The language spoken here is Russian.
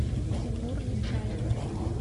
тимур нечаев